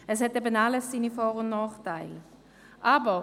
Alles hat seine Vor- und Nachteile.